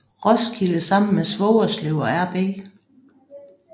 Roskilde sammen med Svogerslev og RB